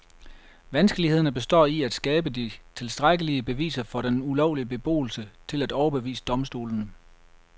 Vanskeligheden består i at skabe de tilstrækkelige beviser for den ulovlige beboelse til at overbevise domstolene.